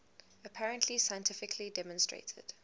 apparently scientifically demonstrated